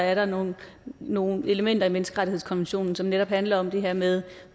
er der nogle nogle elementer i menneskerettighedskonventionen som netop handler om det her med